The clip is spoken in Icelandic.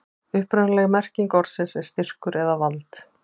upprunaleg merking orðsins er styrkur eða vald